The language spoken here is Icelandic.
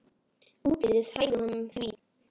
Útlitið hæfir honum því.